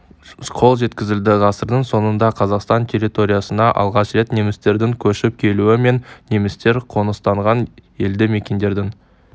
қол жеткізілді ғасырдың соңында қазақстан территориясына алғаш рет немістердің көшіп келуі мен немістер қоныстанған елді-мекендердің